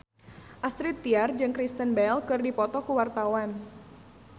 Astrid Tiar jeung Kristen Bell keur dipoto ku wartawan